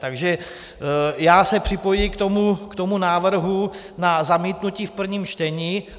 Takže já se připojuji k tomu návrhu na zamítnutí v prvním čtení.